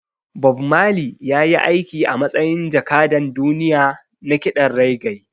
Bob Marley ya yi aiki a matsayin jakadan duniya na kiɗan reggae